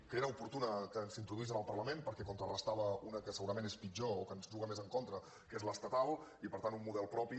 que era oportú que s’introduís en el parlament perquè en contrarestava una que segurament és pitjor o que ens juga més en contra que és l’estatal i per tant un model propi